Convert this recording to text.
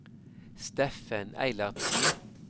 Steffen Eilertsen